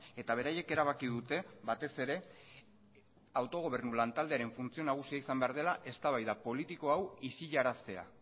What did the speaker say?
eta beraiek erabaki dute batez ere autogobernu lantaldearen funtzio nagusia izan behar dela eztabaida politiko hau isilaraztea